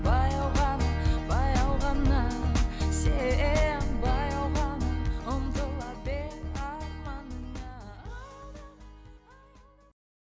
баяу ғана баяу ғана сен баяу ғана ұмтыла арманыңа